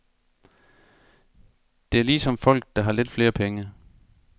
Det er ligesom folk, der har lidt flere penge.